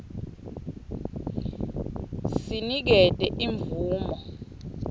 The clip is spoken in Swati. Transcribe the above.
c sinikete imvumo